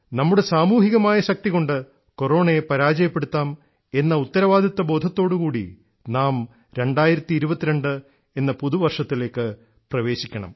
നമ്മുടെ സാമൂഹികമായ ശക്തികൊണ്ട് കൊറോണയെ പരാജയപ്പെടുത്താം എന്ന ഉത്തരവാദിത്വബോധത്തോടുകൂടി നാം 2022 എന്ന പുതുവർഷത്തിലേക്ക് പ്രവേശിക്കണം